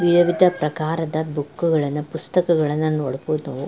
ನಿಯಮಿತ ಪ್ರಕಾರದ ಬುಕ್ ಗಳನ್ನ ಪುಸ್ತಕಗಳನ್ನ ನೋಡಬಹುದು ನಾವು.